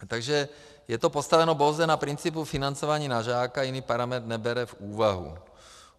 Takže je to postaveno pouze na principu financování na žáka, jiný parametr nebere v úvahu.